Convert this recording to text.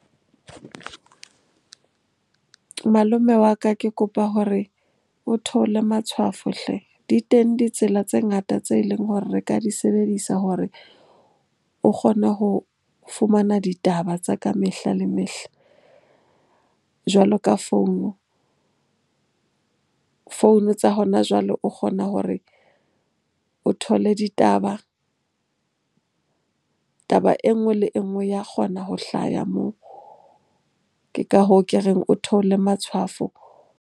Malome wa ka, ke kopa hore o theolle matshwafo hle! Di teng ditsela tse ngata tse leng hore re ka di sebedisa hore o kgone ho fumana ditaba tsa ka mehla le mehla jwalo ka founu. Founu tsa hona jwale o kgona hore o thole ditaba, taba enngwe le enngwe ya kgona ho hlaya moo. Ke ka hoo ke reng o theole matshwafo.